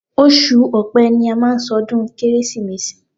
Oṣù ọpẹ́ ni a má ń ṣọdún kérésìmesì.